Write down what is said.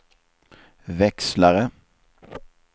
växlare